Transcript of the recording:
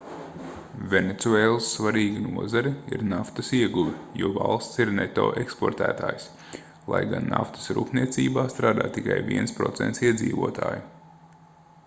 venecuēlas svarīga nozare ir naftas ieguve jo valsts ir neto eksportētājs lai gan naftas rūpniecībā strādā tikai 1% iedzīvotāju